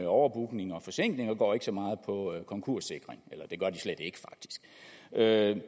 overbookning og forsinkelser og går ikke så meget på konkurssikring eller det